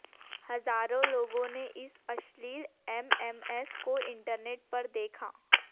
हजारों लोगों ने इस अश्लील एमएमएस को इंटरनेट पर देखा